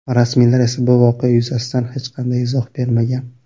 Rasmiylar esa bu voqea yuzasidan hech qanday izoh bermagan.